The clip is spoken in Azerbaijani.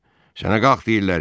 Sənə qalx deyirlər.